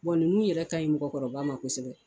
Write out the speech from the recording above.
ninnu yɛrɛ ka ɲi mɔgɔkɔrɔba ma kosɛbɛ